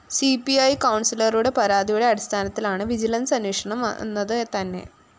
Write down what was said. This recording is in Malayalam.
സി പി ഇ കൗണ്‍സിലറുടെ പരാതിയുടെ അടിസ്ഥാനത്തിലാണ് വിജിലൻസ്‌ അന്വേഷണം വന്നത് തന്നെ